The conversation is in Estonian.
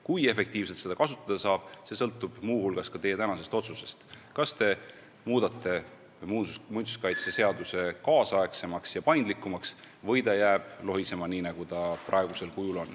Kui efektiivselt seda kasutada saab, see sõltub muu hulgas ka teie tänasest otsusest, kas te muudate muinsuskaitseseaduse kaasaegsemaks ja paindlikumaks või ta jääb lohisema niisugusena, nagu ta praegusel kujul on.